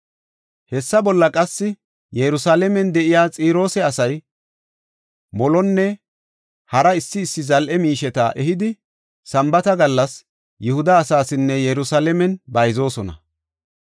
Hessa bolla qassi Yerusalaamen de7iya Xiroosa asay molonne hara issi issi zal7e miisheta ehidi Sambaata gallas Yihuda asaasinne Yerusalaamen bayzoosona.